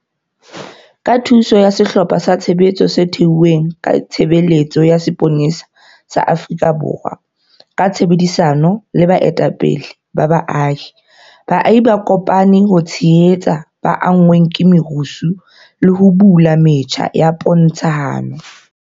Ka thuso ya sehlopha sa tshebetso se thehilweng ke Tshebeletso ya Sepolesa sa Afrika Borwa ka tshebedisano le baetapele ba baahi, baahi ba kopane ho tshehetsa ba anngweng ke merusu le ho bula metjha ya pontshano.